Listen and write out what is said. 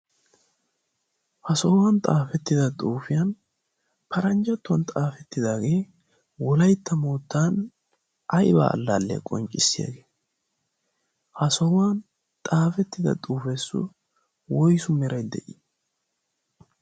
ha sohuwan xaafettida xuufiyan paranjjattuwan xaafettidaagee wolaytta moottan ayba allaalliya qonccissiyaagee ha sohuwan xaafettida xuufiyassu woysu meray de'ii